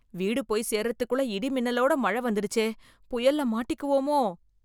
வீடு போய் சேர்றதுக்குள்ள, இடி மின்னலோட மழ வந்துடுச்சே... புயல்ல மாட்டிக்குவோமோ...